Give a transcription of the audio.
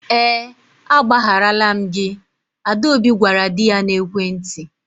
Ee agbagharala m gị, Adaobi gwara di ya n'ekwentị.